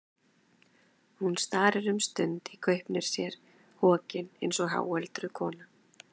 Hún starir um stund í gaupnir sér, hokin eins og háöldruð kona.